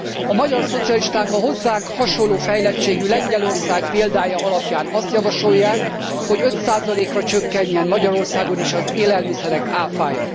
A magyar szocialisták a hozzánk hasonló fejlettségű Lengyelország példája alapján azt javasolják, hogy 5 ra csökkenjen Magyarországon is az élelmiszerek ÁFÁ ja.